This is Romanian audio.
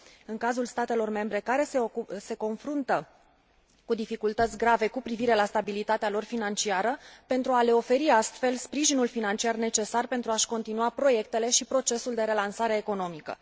în cazul statelor membre care se confruntă cu dificultăți grave cu privire la stabilitatea lor financiară, pentru a le oferi, astfel, sprijinul financiar necesar pentru a și continua proiectele și procesul de relansare economică.